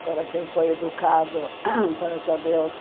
Agora, quem foi educado para saber o quê?